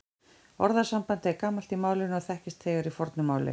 Orðasambandið er gamalt í málinu og þekkist þegar í fornu máli.